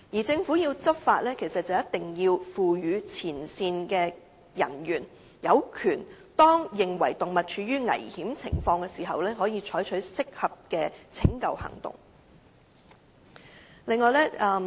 政府要執法便一定要賦予前線人員相關的權力，好讓他們在認為動物處於危險情況時，可以採取適當的拯救行動。